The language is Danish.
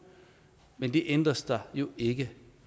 men det ændres der jo ikke